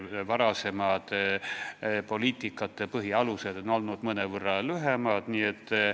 Varasemad poliitikate põhialused on olnud mõnevõrra lühemad dokumendid.